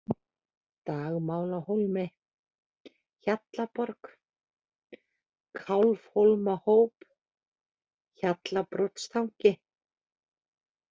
Dagmálahólmi, Hjallaborg, Kálfhólmahóp, Hjallabrotstangi